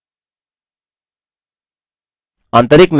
option menu प्रदर्शित होता है